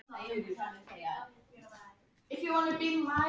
Ég vil kynnast honum og þess vegna vil ég fá hann til baka.